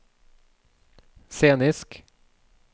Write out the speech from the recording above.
scenisk